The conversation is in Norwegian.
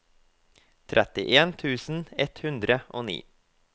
trettien tusen ett hundre og ni